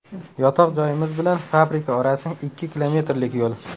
Yotoq joyimiz bilan fabrika orasi ikki kilometrlik yo‘l.